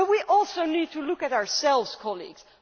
We also need to look at ourselves, colleagues.